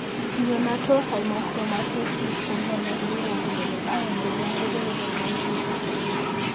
Neonatal hemochromatosis ko miondo ne iporu kole iron chechang kochopo kot misiing porto.